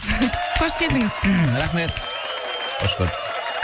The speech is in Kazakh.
қош келдіңіз рахмет қош көрдік